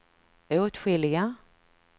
åtskilliga